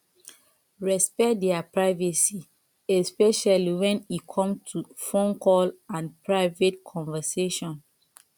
respect their privacy especially when e come to phone call and private conversation